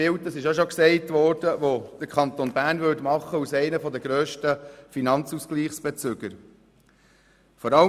Und natürlich würde der Kanton Bern als einer der grössten Finanzausgleichsbezüger ein schlechtes Bild abgeben.